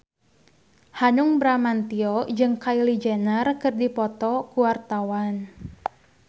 Hanung Bramantyo jeung Kylie Jenner keur dipoto ku wartawan